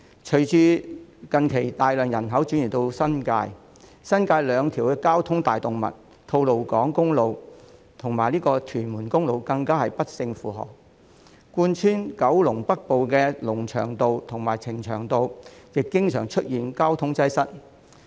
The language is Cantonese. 隨着近年大量人口移入新界，新界兩條交通大動脈——吐露港公路及屯門公路——更不勝負荷；貫穿九龍北部的龍翔道和呈祥道亦經常出現交通擠塞。